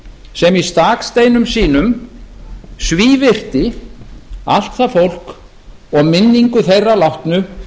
sem í s staksteinum sínum svívirti allt það fólk og minningu þeirra látnu